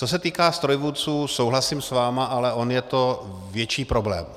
Co se týká strojvůdců, souhlasím s vámi, ale on je to větší problém.